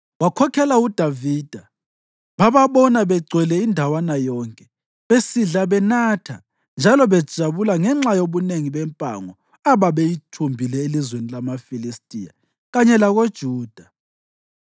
Wakhokhela uDavida, bababona begcwele indawana yonke, besidla, benatha njalo bejabula ngenxa yobunengi bempango ababeyithumbile elizweni lamaFilistiya kanye lakoJuda.